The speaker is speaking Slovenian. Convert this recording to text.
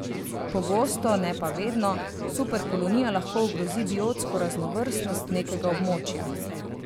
Pogosto, ne pa vedno, superkolonija lahko ogrozi biotsko raznovrstnost nekega območja.